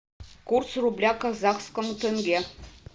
курс рубля к казахскому тенге